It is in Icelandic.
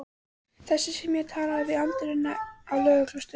Þessi sem ég talaði við í anddyrinu á lögreglustöðinni.